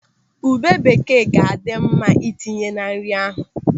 Ube bekee ga-adị mma itinye na nri ahụ.